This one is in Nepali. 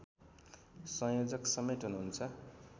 संयोजकसमेत हुनुहुन्छ